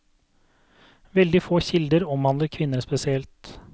Veldig få kilder omhandler kvinner spesielt.